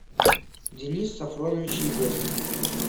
денис сафронович егошин